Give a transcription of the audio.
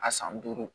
A san duuru